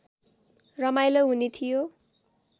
रमाइलो हुने थियो